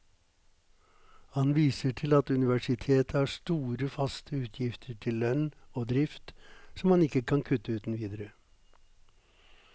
Han viser til at universitetet har store faste utgifter til lønn og drift som man ikke kan kutte uten videre.